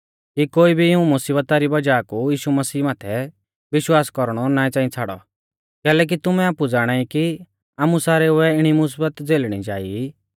कि कोई भी इऊं मुसीबता री वज़ाह कु यीशु मसीह माथै विश्वास कौरणौ ना च़ांई छ़ाड़ौ कैलैकि तुमै आपु ज़ाणाई कि आमु सारेउऐ इणी मुसीबत झ़ेलणी जा ई